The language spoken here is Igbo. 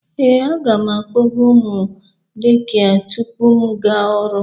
Ee, aga m akpọga ụmụ dekịa tupu m aga ọrụ